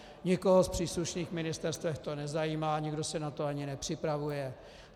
Nikoho z příslušných ministerstev to nezajímá, nikdo se na to ani nepřipravuje.